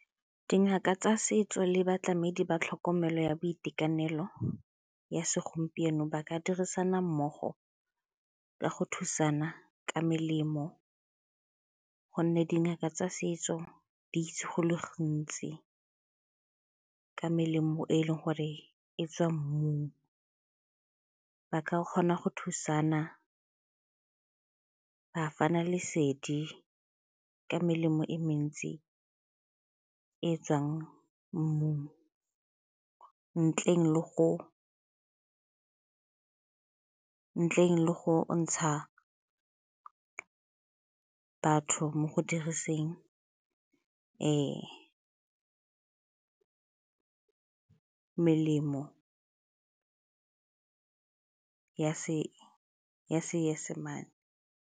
Dingaka tsa setso le batlamedi ba tlhokomelo ya boitekanelo ya segompieno ba ka dirisana mmogo ka go thusana ka melemo gonne dingaka tsa setso di itse go le gontsi ka melemo e e leng gore e tswa mmung. Ba ka kgona go thusana, ba fana lesedi ka melemo e mentsi e e tswang mmung ntleng le go ntsha batho mo go diriseng melemo ya Seesemane.